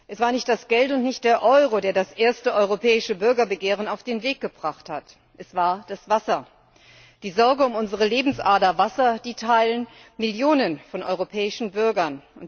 Es war nicht das Geld und nicht der Euro, der das erste europäische Bürgerbegehren auf den Weg gebracht hat es war das Wasser! Die Sorge um unsere Lebensader Wasser teilen Millionen europäischer Bürger.